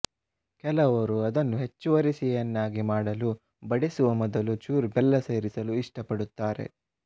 ಕೆಲವರು ಅದನ್ನು ಹೆಚ್ಚುವರಿ ಸಿಹಿಯನ್ನಾಗಿ ಮಾಡಲು ಬಡಿಸುವ ಮೊದಲು ಚೂರು ಬೆಲ್ಲ ಸೇರಿಸಲು ಇಷ್ಟಪಡುತ್ತಾರೆ